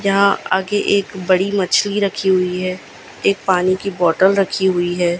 यहां आगे एक बड़ी मछली रखी हुई है एक पानी की बॉटल रखी हुई है।